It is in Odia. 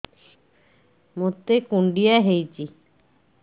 ମୋତେ କୁଣ୍ଡିଆ ହେଇଚି